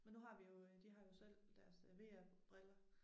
Men nu har vi jo øh de har jo selv deres øh VR briller